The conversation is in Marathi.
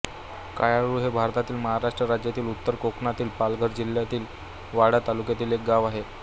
कुयाळु हे भारतातील महाराष्ट्र राज्यातील उत्तर कोकणातील पालघर जिल्ह्यातील वाडा तालुक्यातील एक गाव आहे